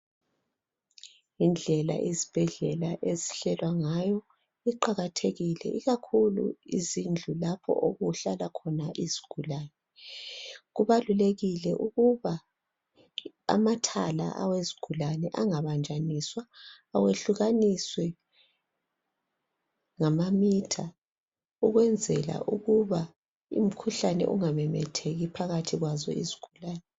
Indlela izibhedlela ezihlelwa ngayo kuqakathekile ikakhulu izindlu lapho okuhlala khona izigulane . Kubalulekile ukuba amathala awezigulane angabanjaniswa ayehlukaniswe ngamamitha ukwenzela ukuba umkhuhlane ungamemetheki phakathi kwazo izigulane.